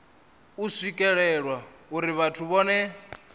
u swikelelwa uri vhathu vhohe